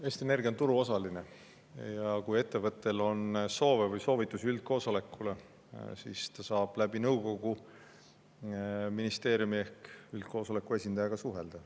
Eesti Energia on turuosaline ja kui ettevõttel on soove või soovitusi üldkoosolekule, siis ta saab läbi nõukogu ministeeriumi ehk üldkoosoleku esindajaga suhelda.